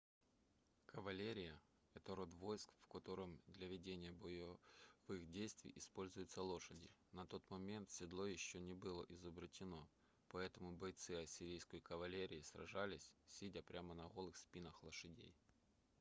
кавалерия это род войск в котором для ведения боевых действий используются лошади на тот момент седло еще не было изобретено поэтому бойцы ассирийской кавалерии сражались сидя прямо на голых спинах лошадей